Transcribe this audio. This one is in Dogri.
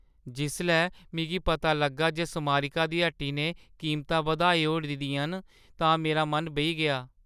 जिसलै मिगी पता लग्गा जे स्मारिका दी हट्टी ने कीमतां बधाई ओड़ी दियां हियां, तां मेरा मन बेही गेआ।